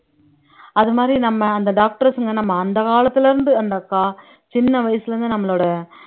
அதுமாதிரி நம்ம அந்த doctors ங்க நம்ம அந்த காலத்துல இருந்து அந்த கா சின்ன வயசுல இருந்து நம்மளோட